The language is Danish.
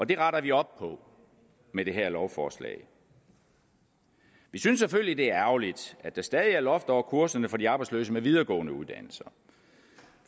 det retter vi op på med det her lovforslag vi synes selvfølgelig at det er ærgerligt at der stadig er loft over kurserne for de arbejdsløse med videregående uddannelser